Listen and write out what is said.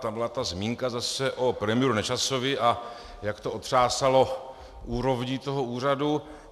Tam byla ta zmínka zase o premiéru Nečasovi, a jak to otřásalo úrovní toho úřadu.